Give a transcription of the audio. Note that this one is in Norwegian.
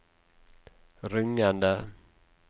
rungende